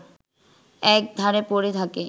এক ধারে পড়ে থাকে